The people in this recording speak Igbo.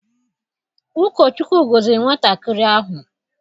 Ụkọ Chukwu gọziri nwatakịrị ahụ.